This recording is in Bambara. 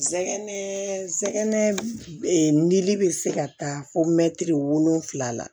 Sɛgɛn sɛgɛn li bɛ se ka taa fo mɛtiri wolonfila la